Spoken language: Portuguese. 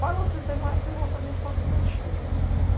Falam assim, teve uma época de avançamento participativo.